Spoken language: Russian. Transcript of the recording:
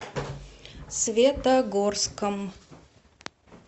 светогорском